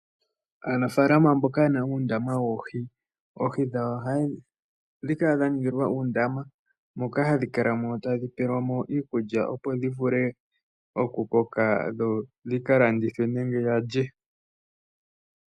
Aafaalama mboka ye na uundama woohi, oohi dhawo oha dhi kala dha ningilwa uundama moka hadhi kalamo tadhi pelwa mo iikulya opo dhi vule okukoka dho dhika landithwe nenge yalye.